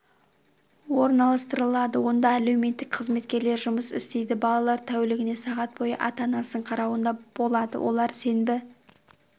орналастырылады онда әлеуметтік қызметкерлер жұмыс істейді балалар тәулігіне сағат бойы ата-анасының қарауында болады олар сенбі